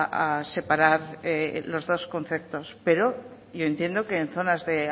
a separar los dos conceptos pero yo entiendo que en zonas de